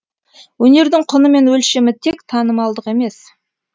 өнердің құны мен өлшемі тек танымалдық емес